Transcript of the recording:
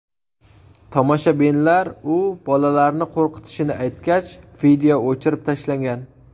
Tomoshabinlar u bolalarni qo‘rqitishini aytgach, video o‘chirib tashlangan .